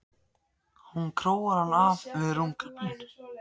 Hún króar hann af við rúmgaflinn.